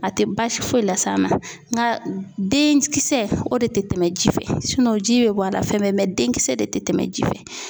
A tɛ baasi foyi la s'a ma nga den kisɛ o de tɛ tɛmɛ ji fɛ ji bɛ bɔ a la fɛn bɛɛ den kisɛ de tɛ tɛmɛ ji fɛ.